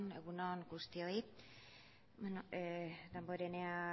egun on guztioi damborenea